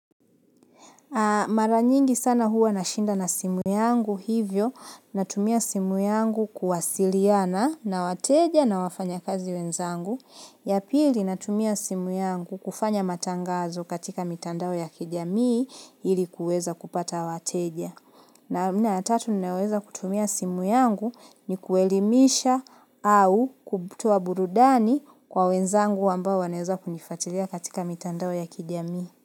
Mara nyingi sana huwa nashinda na simu yangu hivyo, natumia simu yangu kuwasiliana na wateja na wafanyakazi wenzangu. Ya pili natumia simu yangu kufanya matangazo katika mitandao ya kijamii hili kuweza kupata wateja. Namna ya tatu ninaoweza kutumia simu yangu ni kuelimisha au kutoa burudani kwa wenzangu ambao wanaeza kunifuatilia katika mitandao ya kijamii.